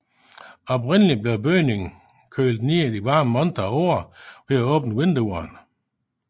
Oprindelig blev bygningen kølet i de varme måneder af året ved at åbne vinduerne